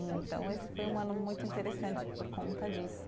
Então esse foi um ano muito interessante por conta disso.